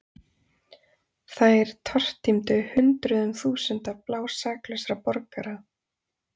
Þær tortímdu hundruðum þúsunda blásaklausra borgara.